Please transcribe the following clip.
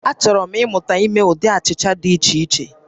Achọrọ m ịmụta ime ụdị achịcha dị iche iche